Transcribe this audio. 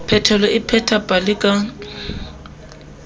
phetelo o pheta pale ka